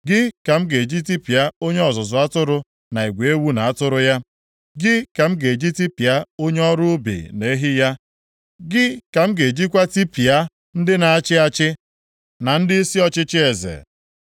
gị ka m ga-eji tipịa onye ọzụzụ atụrụ na igwe ewu na atụrụ ya, gị ka m ga-eji tipịa onye ọrụ ubi na ehi ya; gị ka m ga-ejikwa tipịa ndị na-achị achị na ndịisi ọchịchị eze.